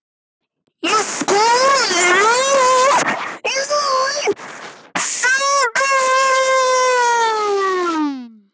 Ég slóraði oftast niðri í bæ í sendiferðunum.